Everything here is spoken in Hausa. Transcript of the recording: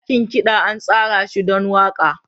Dakin kiɗa an tsara shi don waƙa.